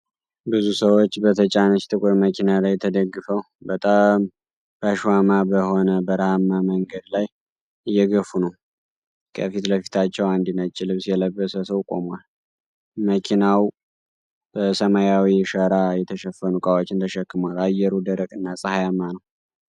ብዙ ሰዎች በተጫነች ጥቁር መኪና ላይ ተደግፈው፣ በጣም ባሸዋማ በሆነ በረሃማ መንገድ ላይ እየገፉ ነው። ከፊት ለፊታቸው አንድ ነጭ ልብስ የለበሰ ሰው ቆሟል። መኪናው በሰማያዊ ሸራ የተሸፈኑ ዕቃዎችን ተሸክሞአል። አየሩ ደረቅ እና ፀሐያማ ነው።